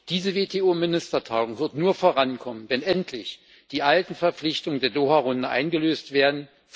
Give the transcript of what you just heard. Diese WTO Ministertagung wird nur vorankommen, wenn endlich die alten Verpflichtungen der Doha Runde eingelöst werden.